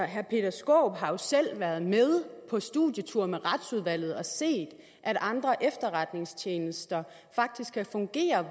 herre peter skaarup har jo selv været med på studietur med retsudvalget og set at andre efterretningstjenester faktisk kan fungere